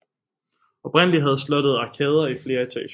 Oprindeligt havde slottet arkader i flere etager